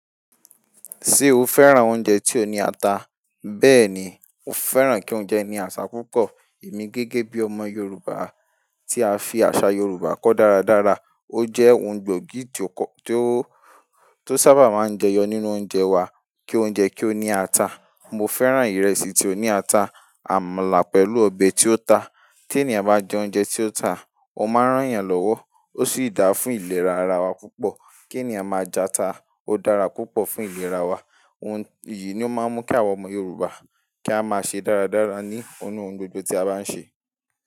Ṣé o fẹ́ràn oúnjẹ tí ó ní àtà? Bẹ́ẹ̀ni, mo fẹ́ràn kí oúnjẹ ní àtà púpọ̀. Èmi gẹ́gẹ́ bí ọmọ Yorùbá tí a fi àṣà Yorùbá kọ́ dáradára, o jẹ́ ohun gbóògì tí ó sábà máa ń jẹyọ nínú oúnjẹ wa kí oúnjẹ kí ó ní ata. Mo fẹ́ran ìrẹsì tí ó ní ata, àmàlà pẹ̀lú ọbẹ̀ tí ó ta. Tí ènìyàn bá jẹ oúnjẹ tí ó ta, ó máa rán yàn lọ́wọ́, ó sì dáa fún ìlera ara wa púpọ̀. Kí ènìyàn máa jẹ ata, ó dára púpọ̀ fún ìlera wa. Ohun yìí ni ó máa ń mú kí àwọn ọmọ Yorùbá, kí a máa ṣe dáradára ní ọ̀nu ohun gbogbo tí a bá ń ṣe.